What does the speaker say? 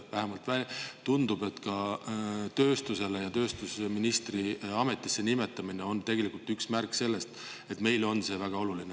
Vähemalt tundub, et ka tööstusministri ametisse nimetamine on märk sellest, et see on meile väga oluline.